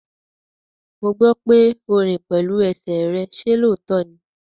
Mo gbọ́ pé o rìn pẹ̀lú ẹsẹ̀ rẹ, ṣe lóòótọ́ ní?